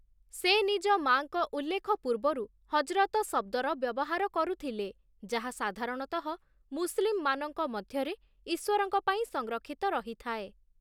ସେ ନିଜ ମାଆଙ୍କ ଉଲ୍ଲେଖ ପୂର୍ବରୁ 'ହଜ୍ରତ' ଶବ୍ଦର ବ୍ୟବହାର କରୁଥିଲେ, ଯାହା ସାଧାରଣତଃ ମୁସଲିମମାନଙ୍କ ମଧ୍ୟରେ ଈଶ୍ୱରଙ୍କ ପାଇଁ ସଂରକ୍ଷିତ ରହିଥାଏ ।